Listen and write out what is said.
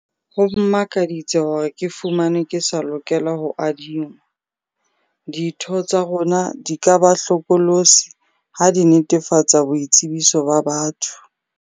Ho mmakaditse hore ke fumanwe ke sa lokela ho adingwa. Ditho tsa rona di ka ba hlokolosi ha di netefatsa boitsebiso ba batho.